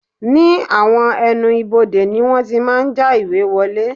Ní àwọn ẹnu ibodè ni wọ́n ti máa ń já ìwé ìwọlé